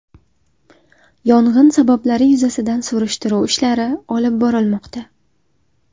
Yong‘in sabablari yuzasidan surishtiruv ishlari olib borilmoqda.